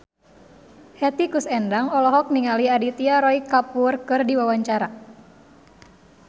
Hetty Koes Endang olohok ningali Aditya Roy Kapoor keur diwawancara